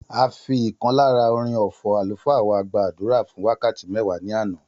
A fi ìkan lára orin ọfọ̀ àlùfáà wá gbàdúrà fún wákàtí mẹwa ní àná